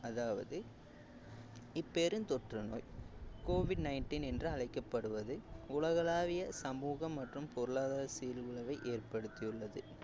அதாவது இப்பெருந்தொற்று நோய் covid nineteen என்று அழைக்கப்படுவது உலகளாவிய சமூகம் மற்றும் பொருளாதார சீர்குலைவை ஏற்படுத்தியுள்ளது